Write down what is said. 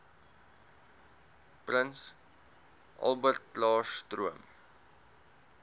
prins albertklaarstroom